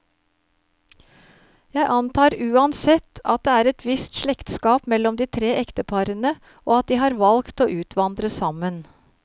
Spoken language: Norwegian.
Jeg antar uansett, at det er et visst slektskap mellom de tre ekteparene, og at de har valgt å utvandre sammen.